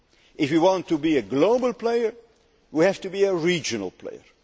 If we want to be a global player, we have to be a regional